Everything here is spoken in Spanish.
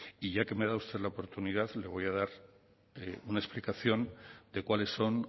y ya que me da usted la oportunidad le voy a dar una explicación de cuáles son